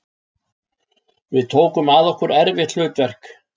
Við tókum að okkur erfitt hlutverk